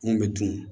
Mun bɛ dun